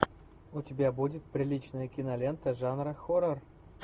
у тебя будет приличная кинолента жанра хоррор